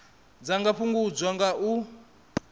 dza nga fhungudzwa nga u